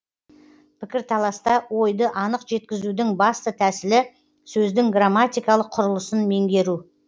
пікірталаста ойды анық жеткізудің басты тәсілі сөздің грамматикалық құрылысын меңгеру